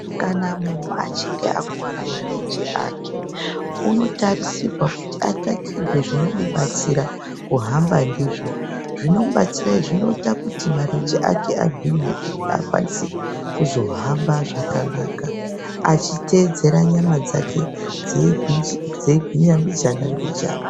Kana muntu achinge akuwara marenje ake unotarisirwa kuti atsvakirwe zvinomudetsera kuhamba ndizvo. Zvinomudetsera izvi zvinoita kuti marenje ake agwinye akwanise kuzohamba zvakanaka achiteedzera nyama dzake dzeigwinya mbijana mbijana.